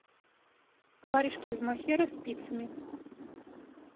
варежки из мохера спицами